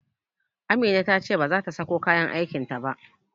Amina ta ce bazata sako kayan aikin ta ba